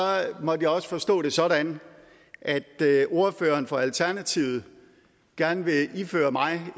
måtte jeg også forstå det sådan at ordføreren for alternativet gerne vil iføre mig